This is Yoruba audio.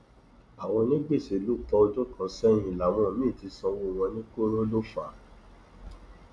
àwọn onígbèsè ló pọ ọdún kan sẹyìn làwọn míín ti sanwó wọn ní koro ló fà á